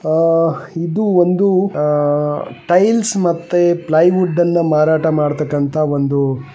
ಓ ಇದು ಒಂದು ಆ ಟೈಲ್ಸ್ ಮತ್ತೆ ಪ್ಲೈವುಡ್ ನ್ನ ಮಾರಾಟ ಮಾಡತಕ್ಕಂತ ಒಂದು --